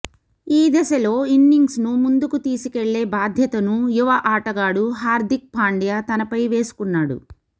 ఈ దశలో ఇన్నింగ్స్ను ముందుకు తీసుకెళ్లే బాధ్యతను యువ ఆటగాడు హార్ధిక్ పాండ్యా తనపై వేసుకున్నాడు